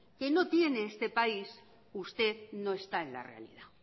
que no tiene este país usted no está en la realidad